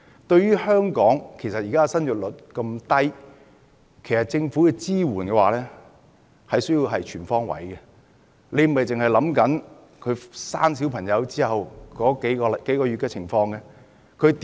對於香港現時的低生育率，政府的支援其實要全方位，而不是顧及小孩出生後數個月的情況而已。